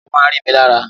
Ekòló máa ń rí mi lára